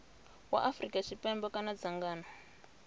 wa afrika tshipembe kana dzangano